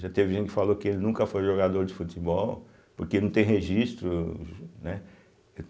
Já teve gente que falou que ele nunca foi jogador de futebol, porque não tem registro, né.